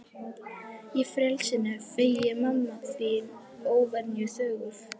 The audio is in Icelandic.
Ég frelsinu feginn, mamma þín óvenju þögul.